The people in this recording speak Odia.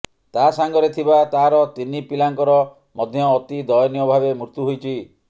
ତା ସାଙ୍ଗରେ ଥିବା ତାର ତିନି ପିଲାଙ୍କର ମଧ୍ୟ ଅତି ଦୟନୀୟ ଭାବେ ମୃତ୍ୟୁ ହୋଇଛି